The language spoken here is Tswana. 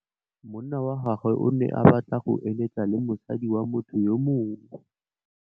Monna wa gagwe o ne a batla go êlêtsa le mosadi wa motho yo mongwe.